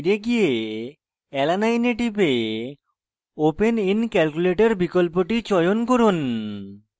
alanine এ টিপে; open in calculator বিকল্পটি চয়ন করুন